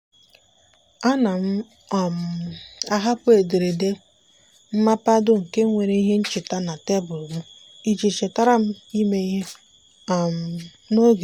a na m um ahapụ ederede mmapado nke nwere ihe ncheta na tebụl mụ iji chetara m ime ihe um n'oge.